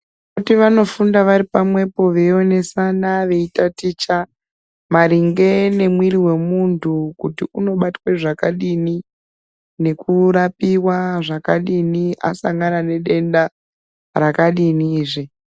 Zvekuti vanofunda vari pamwepo veionesana veitaticha maringe nomuwiri womuntu kuti unobatwa zvakadiini nekurapiwa zvakadini asangana nedenda rakadini zve.